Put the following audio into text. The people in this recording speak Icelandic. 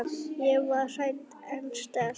Ég var hrædd en sterk.